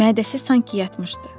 Mədəsi sanki yatmışdı.